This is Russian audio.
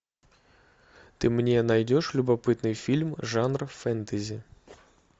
ты мне найдешь любопытный фильм жанр фэнтези